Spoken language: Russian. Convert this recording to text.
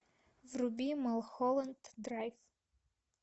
вруби малхолланд драйв